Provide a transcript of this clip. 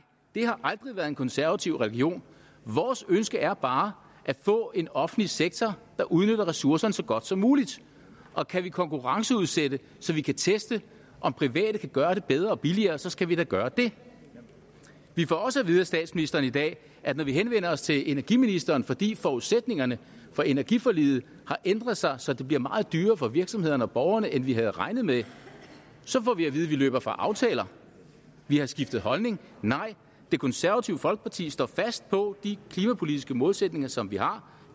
det har aldrig været en konservativ religion vores ønske er bare at få en offentlig sektor der udnytter ressourcerne så godt som muligt og kan vi konkurrenceudsætte så vi kan teste om private kan gøre det bedre og billigere skal vi da gøre det vi får også at vide af statsministeren i dag at når vi henvender os til energiministeren fordi forudsætningerne for energiforliget har ændret sig så det bliver meget dyrere for virksomhederne og borgerne end vi havde regnet med løber vi fra aftaler vi har skiftet holdning nej det konservative folkeparti står fast på de klimapolitiske målsætninger som vi har